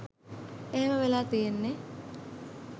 එහෙම වෙලා තියෙන්නෙ